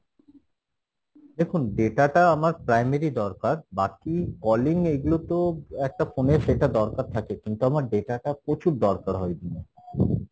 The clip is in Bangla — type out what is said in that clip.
দেখুন data টা আমার primary দরকার বাকি calling এইগুলো তো একটা phone এ সেটা দরকার থাকে কিন্তু আমার data টা প্রচুর দরকার হয়